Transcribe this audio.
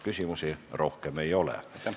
Küsimusi rohkem ei ole.